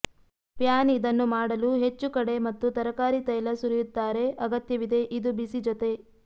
PAN ಇದನ್ನು ಮಾಡಲು ಹೆಚ್ಚು ಕಡೆ ಮತ್ತು ತರಕಾರಿ ತೈಲ ಸುರಿಯುತ್ತಾರೆ ಅಗತ್ಯವಿದೆ ಇದು ಬಿಸಿ ಜೊತೆ